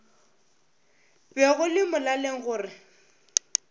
be go le molaleng gore